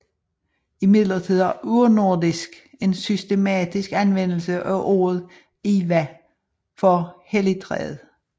Imidlertid har urnordisk en systematisk anvendelse af ordet Ihwa for helligtræet